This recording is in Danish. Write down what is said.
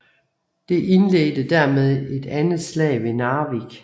Det indledte dermed det andet slag ved Narvik